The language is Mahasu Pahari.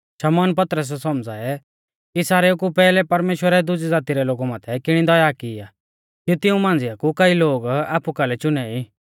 शमौन पतरसै सौमझ़ाऐ कि सारेऊ कु पैहलै परमेश्‍वरै दुजी ज़ाती रै लोगु माथै किणी दया की आ कि तिऊं मांझ़िया कु कई लोग आपु कालै चुने ई